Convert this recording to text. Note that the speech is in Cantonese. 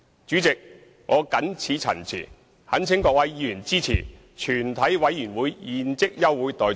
主席，我謹此陳辭，懇請各位議員支持全體委員會現即休會待續議案。